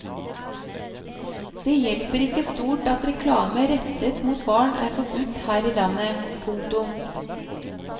Det hjelper ikke stort at reklame rettet mot barn er forbudt her i landet. punktum